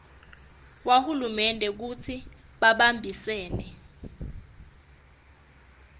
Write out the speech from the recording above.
wahulumende kutsi bahambisane